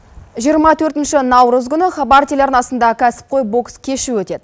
жиырма төртінші наурыз күні хабар телеарнасында кәсіпқой бокс кеші өтеді